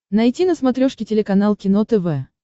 найти на смотрешке телеканал кино тв